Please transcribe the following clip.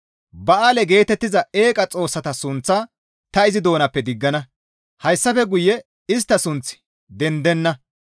Ba7aale geetettiza eeqa xoossata sunththaa ta izi doonappe diggana; hayssafe guye istta sunththi dendenna.